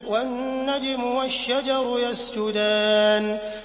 وَالنَّجْمُ وَالشَّجَرُ يَسْجُدَانِ